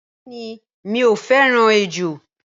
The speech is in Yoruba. Bẹẹni mi o fẹràn ejò.